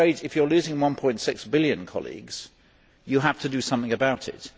I am afraid if you are losing EUR 1.6 billion, colleagues, you have to do something about it.